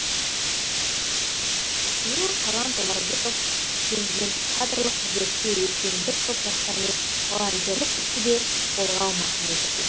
биыл талант омарбеков президенттік кадрлық резервке өткен бір топ жастармен волонтерлік істі де қолға алмақ ниетте